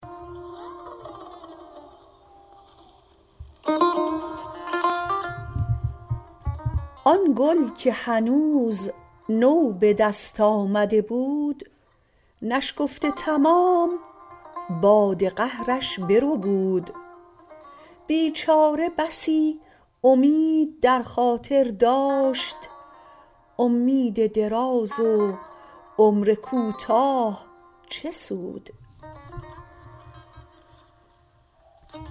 آن گل که هنوز نو به دست آمده بود نشکفته تمام باد قهرش بربود بیچاره بسی امید در خاطر داشت امید دراز و عمر کوتاه چه سود